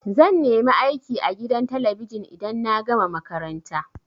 Zan nemi aiki a gidan talabijin idan na gama makaranta.